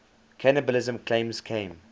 cannibalism claims came